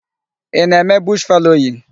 Ị na-eme bush fallowing?